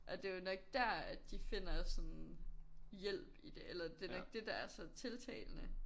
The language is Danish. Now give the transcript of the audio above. Og det jo nok dér at de finder sådan hjælp i det eller det nok det der er så tiltalende